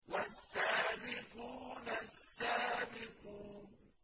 وَالسَّابِقُونَ السَّابِقُونَ